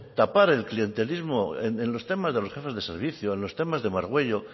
tapar el clientelismo en los temas de los jefes de servicios en los temas de margüello